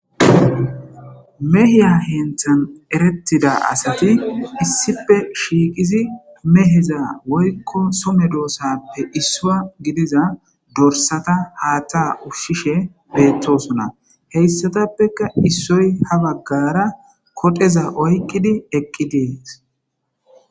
Meeha heniththan eretida asat issippe shiqiddi meehza woyikko Soho medosappe issuwa gidiza dorisata haaththa ushshishe betosona he issotappekka issoy ha bagara koxeza oyikidi eqideesi